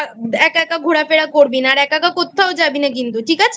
একা একা ঘোরাফেরা করবি না আরএকা একা কোত্থাও যাবি না ঠিক আছে?